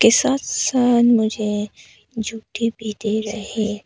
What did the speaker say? ये मुझे झुट्टी भी दे रहे--